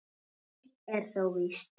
Eitt er þó víst.